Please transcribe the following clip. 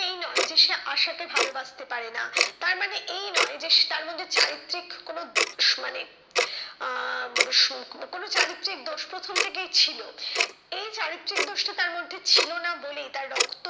এই নয় যে সে আশাকে ভালোবাসতে পারে না। তারমানে এই নয় যে সে তার মধ্যে চারিত্রিক কোনো দোষ মানে আহ সুখ বা কোনো চারিত্রিক দোষ প্রথম থেকেই ছিল। এই চারিত্রিক দোষটি তার মধ্যে ছিলোনা বলেই তার